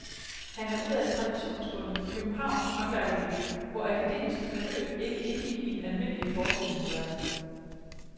Han er ud af et traditionsbundet københavnsk håndværkermiljø, hvor akademiske forløb ikke indgik i den almindelige forestillingsverden.